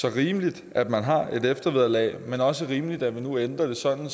er rimeligt at man har et eftervederlag men også rimeligt at vi nu ændrer det sådan